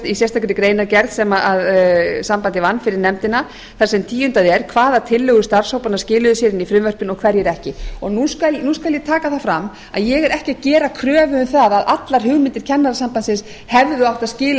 í sérstakri greinargerð sem sambandið vann fyrir nefndina þar sem tíundað er hvaða tillögur starfshópanna skiluðu sér inn í frumvarpið og hverjir ekki nú skal ég taka það fram að ég er ekki að gera kröfu um það að allar hugmyndir kennarasambandsins hefðu átt að skila